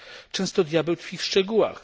Często diabeł tkwi w szczegółach.